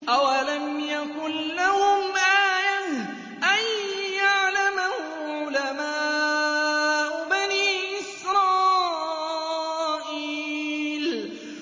أَوَلَمْ يَكُن لَّهُمْ آيَةً أَن يَعْلَمَهُ عُلَمَاءُ بَنِي إِسْرَائِيلَ